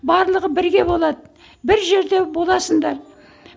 барлығы бірге болады бір жерде боласыңдар